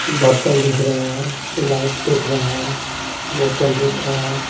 बर्तन दिख रहा है लाइट दिख रहा है बोतल दिख रहा है।